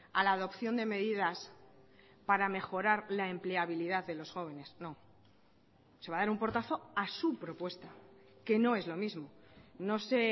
a la adopción de medidas para mejorar la empleabilidad de los jóvenes no se va a dar un portazo a su propuesta que no es lo mismo no sé